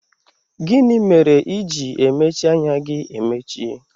Gịnị mere i ji emechi anya gị emechi?